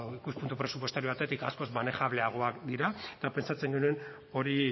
ikuspuntu presupuestario batetik askoz manejableagoak dira eta pentsatzen genuen hori